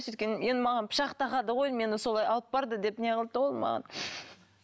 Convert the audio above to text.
енді маған пышақ тақады ғой мені солай алып барды деп не қылды да ол маған